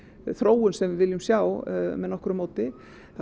þróun sem við viljum sjá með nokkru móti